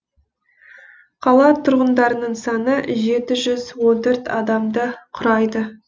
қала тұрғындарының саны жеті жүз он төрт адамды құрайды